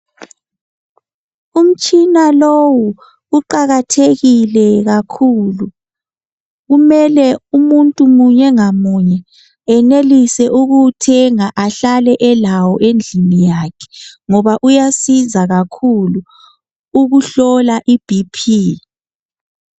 Umtshina lowu uqakathekile kakhulu. Kumele umuntu munye ngamunye eyenelise ukuwuthenga ahlale elawo endlini yakhe ngoba uyasiza kakhulu ukuhlola ibhiphi.